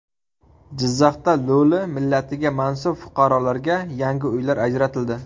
Jizzaxda lo‘li millatiga mansub fuqarolarga yangi uylar ajratildi .